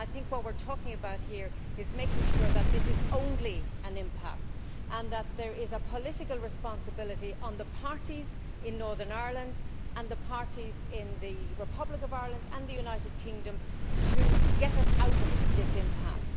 What we are talking about here is making sure that this is only an impasse and that there is a political responsibility on the parties in Northern Ireland and on the parties in the Republic of Ireland and the United Kingdom to get us out of this impasse.